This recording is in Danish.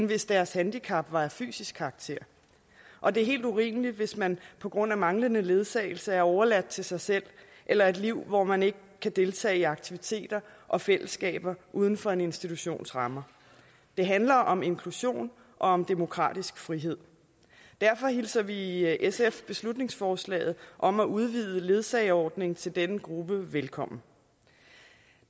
hvis deres handicap var af fysisk karakter og det er helt urimeligt hvis man på grund af manglende ledsagelse er overladt til sig selv eller et liv hvor man ikke kan deltage i aktiviteter og fællesskaber uden for en institutions rammer det handler om inklusion og om demokratisk frihed derfor hilser vi i sf beslutningsforslaget om at udvide ledsageordningen til denne gruppe velkommen